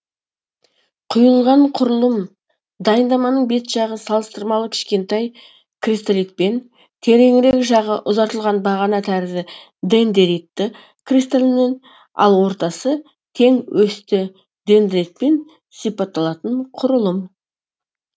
құйылған құрылым дайындаманың бет жағы салыстырмалы кішкентай кристалитпен тереңірек жағы ұзартылған бағана тәрізді дендеритті кристалмен ал ортасы тең осьті дендритпен сипатталатын құрылым